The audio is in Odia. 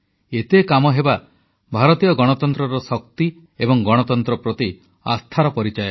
ଏତେ କାମହେବା ଭାରତୀୟ ଗଣତନ୍ତ୍ରର ଶକ୍ତି ଏବଂ ଗଣତନ୍ତ୍ର ପ୍ରତି ଆସ୍ଥାର ପରିଚାୟକ